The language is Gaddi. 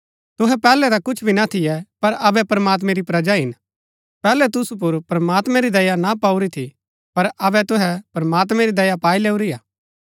तुहै पैहलै ता कुछ भी ना थियै पर अबै प्रमात्मैं री प्रजा हिन पैहलै तुसु पुर प्रमात्मैं री दया ना पाऊरी थी पर अबै तुहै प्रमात्मैं री दया पाई लैऊरी हा